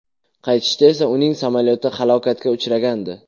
Qaytishda esa uning samolyoti halokatga uchrgandi.